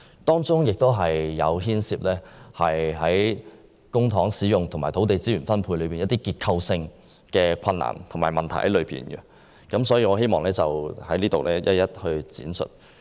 這項計劃在公帑使用和土地資源分配方面，亦有一些結構性困難和問題，我希望在此一一闡述。